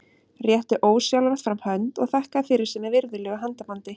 Rétti ósjálfrátt fram hönd og þakkaði fyrir sig með virðulegu handabandi.